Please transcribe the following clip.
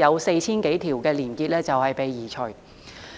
約 4,000 多條連結被移除。